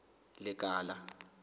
lekala